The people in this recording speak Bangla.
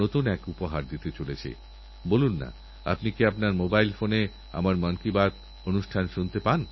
মহাত্রেজী সোনালের বিয়েতে যত কুটুম বন্ধুবান্ধব অতিথি এসেছিলেনসবাইকে কেসর আমের চারা উপহারস্বরূপ দান করেছেন